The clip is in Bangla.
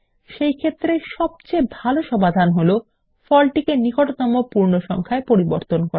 সেইক্ষেত্রে সবচেয়ে ভালো সমাধান হলো ফলটিকে নিকটতম পূর্ণ সংখ্যায় পরিবর্তন করা